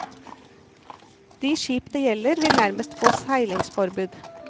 De skip det gjelder, vil nærmest få seilingsforbud.